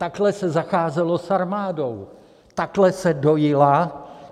Takhle se zacházelo s armádou, takhle se dojila.